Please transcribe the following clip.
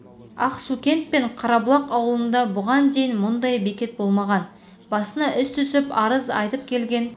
ақсукент пен қарабұлақ ауылында бұған дейін мұндай бекет болмаған басына іс түсіп арыз айта келген